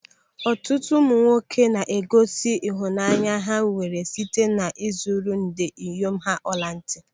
Ọtụtụ ụmụ nwoke na-egosi ịhụnanya ha nwere site na ị zụrụ ndị inyom ha ọla ntị.